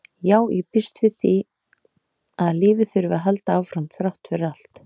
Já, ég býst við að lífið þurfi að halda áfram þrátt fyrir allt